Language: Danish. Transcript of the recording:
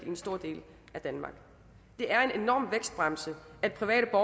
en stor del af danmark det er en enorm vækstbremse at private